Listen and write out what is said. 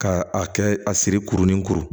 Ka a kɛ a siri kurunin kuru